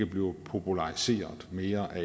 bliver populariseret mere af